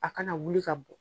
A kana wuli ka bɔn.